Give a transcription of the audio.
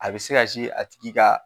A bi se ka a tigi ka